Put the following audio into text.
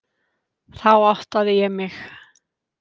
Þá áttaði ég mig.